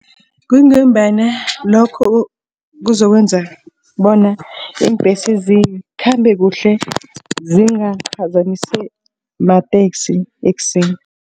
Kungombana lokho kuzokwenza bona iimbhesi zikhambe kuhle zingaphazamiswa mateksi ekuseni.